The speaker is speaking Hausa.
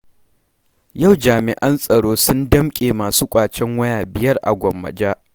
Yau jami'an tsaro sun damƙe masu ƙwacen waya 5 a Gwammaja.